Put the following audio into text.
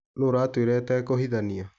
Nũũ ũratwĩra atekũhithania.